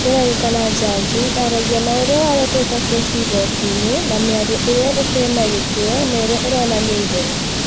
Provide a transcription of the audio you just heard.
ĩrerĩkana jaji aragia na ûrĩa waleteta kesi igotinĩ na mĩario ĩrĩa ĩtina gĩtĩo na ĩria ironania itheru